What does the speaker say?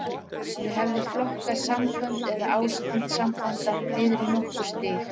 Ég hef flokkað sambönd, eða ástand sambanda, niður í nokkur stig.